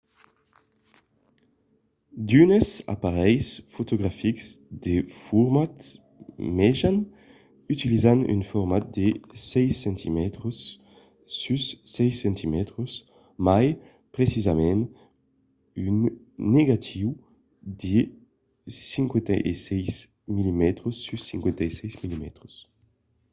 d'unes aparelhs fotografics de format mejan utilizan un format de 6 cm sus 6 cm mai precisament un negatiu de 56 mm sus 56 mm